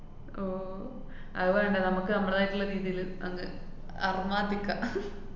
ഓ, അതു വേണ്ട നമക്ക് നമ്മടേതായിട്ടുള്ള രീതീല് അങ്ങ് അറുമ്മാദിക്കാ